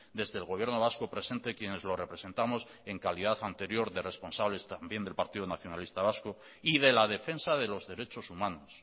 desde el gobierno vasco presente quienes lo representamos en calidad anterior de responsables también del partido nacionalista vasco y de la defensa de los derechos humanos